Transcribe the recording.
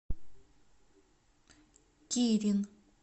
кирин